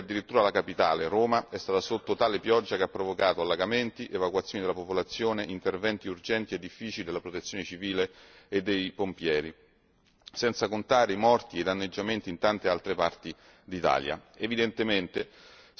Eppure, in questi giorni addirittura la capitale, Roma, è stata sotto una pioggia così forte che ha provocato allagamenti, evacuazioni della popolazione nonché interventi urgenti e difficili della protezione civile e dei pompieri, senza contare i morti e i danneggiamenti in tante altre parti d'Italia.